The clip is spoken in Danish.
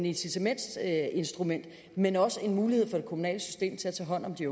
incitamentinstrument men også en mulighed for det kommunale system til at tage hånd om de